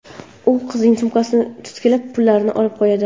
U qizning sumkasini titkilab, pullarini olib qo‘yadi.